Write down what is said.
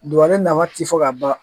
ne nafa ti fɔ ka ban